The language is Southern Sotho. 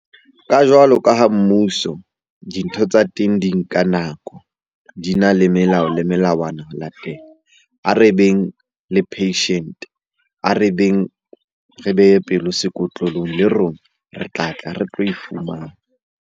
Ka jwalo ka ha mmuso, dintho tsa teng di nka nako, di na le melao le melawana ya teng. A re beng le patient-e, a re beng re behe pelo sekotlolong. Le rona re tlatla re tlo e fumana.